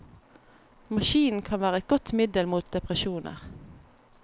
Maskinen kan være et godt middel mot depresjoner.